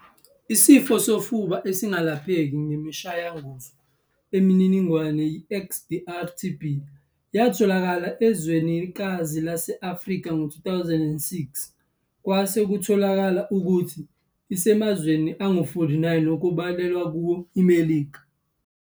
Isifo sofuba esingalapheki ngemishayanguzo eminingi i-XDR TB yatholakala ezwenikazi lase-Afrika ngo-2006, kwase kutholakala ukuthi isemazweni angu-49 okubalwa kuwo iMelika.